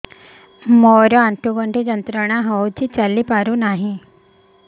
ମୋରୋ ଆଣ୍ଠୁଗଣ୍ଠି ଯନ୍ତ୍ରଣା ହଉଚି ଚାଲିପାରୁନାହିଁ